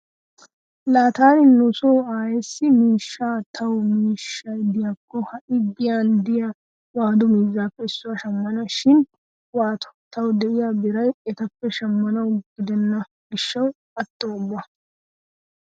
Laa taani nu so aayeessi miishshi tawu miishshi diyakko ha"i giyan diya waadu miizzaappe issuwa shammana. Shin waatoo tawu diya biray etappe shammanawu gidenna gishshawu atto ubba.